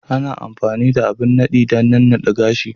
Ana amfani da abin nadi dan nanna de gashi.